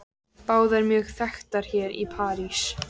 Báðar mjög þekktar hér í París.